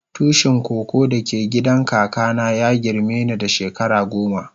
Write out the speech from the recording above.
Tushin koko da ke gidan kaka na ya girme ni da shekara goma.